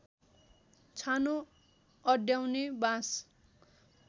छानो अड्याउने बाँस